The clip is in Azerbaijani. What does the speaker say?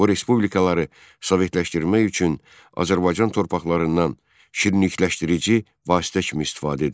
Bu respublikaları sovetləşdirmək üçün Azərbaycan torpaqlarından şirinlikləşdirici vasitə kimi istifadə edilirdi.